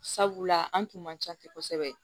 Sabula an tun man ca ten kosɛbɛ